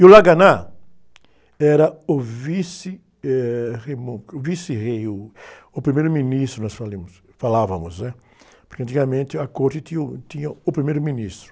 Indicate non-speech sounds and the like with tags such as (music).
E o (unintelligible) era o vice, eh, Rei Momo, o vice-rei, uh, o primeiro-ministro, nós falimos, falávamos, né? Porque antigamente a corte tinha o, tinha o primeiro-ministro.